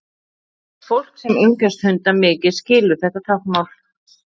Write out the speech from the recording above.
fólk sem umgengst hunda mikið skilur þetta táknmál